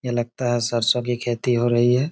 यह लगता है सरसों की खेती हो रही है।